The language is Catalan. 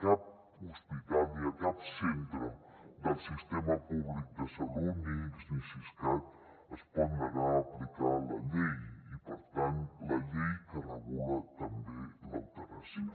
cap hospital ni cap centre del sistema públic de salut ni ics ni siscat es pot negar a aplicar la llei i per tant la llei que regula també l’eutanàsia